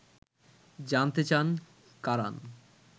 জানতে চান কারান